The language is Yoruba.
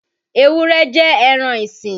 Ewúré jẹ́ ẹran isìn.